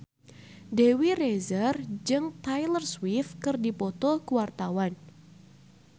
Dewi Rezer jeung Taylor Swift keur dipoto ku wartawan